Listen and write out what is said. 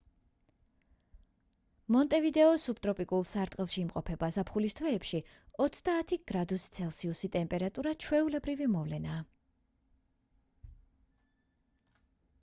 მონტევიდეო სუბტროპიკულ სარტყელში იმყოფება; ზაფხულის თვეებში +30°c გრადუსი ტემპერატურა ჩვეულებრივი მოვლენაა